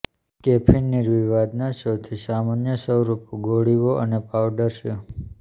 caffeine નિર્વિવાદના સૌથી સામાન્ય સ્વરૂપો ગોળીઓ અને પાવડર છે